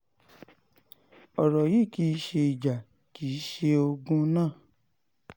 ọ̀rọ̀ yìí kì í ṣe ìjà kì í ṣe ogun náà